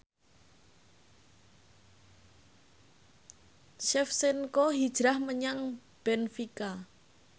Shevchenko hijrah menyang benfica